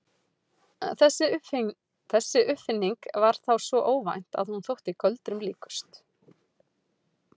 Þessi uppfinning var þá svo óvænt að hún þótti göldrum líkust.